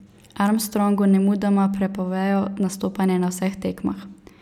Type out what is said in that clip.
Armstrongu nemudoma prepovejo nastopanje na vseh tekmah.